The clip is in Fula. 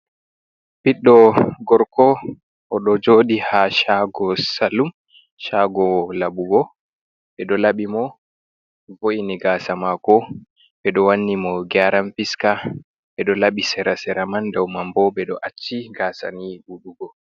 Ɓiɗɗo gorko o ɗo jooɗii, haa shaago salum shaago laɓugo, ɓe ɗo laɓi mo, vo’ini gaasa maako, ɓe ɗo wanni mo geeran piska, ɓe ɗo laɓi sera-sera man, doo mambo ɓe ɗo acci gaasa ni ɗuɗugo.